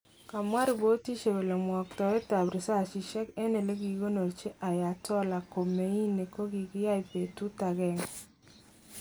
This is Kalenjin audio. Kamwa ripotishek kole mwoktoet ab risasishek eng elekikikonorchi Ayatollah Khomeini kokikiyai betut agenge.